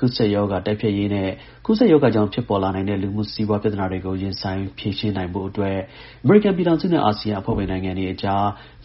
ကူးစက်ရောဂါ တိုက်ဖျက်ရေးနဲ့ ကူးစက်ရောဂါကြောင့် ဖြစ်ပေါ်လာနိုင်တဲ့ လူမှု-စီးပွား ပြဿနာတွေကို ရင်ဆိုင် ဖြေရှင်း ရေးအတွက် အမေရိကန်ပြည်ထောင်စုနဲ့ အာဆီယံအဖွဲ့ဝင် နိုင်ငံတွေအကြား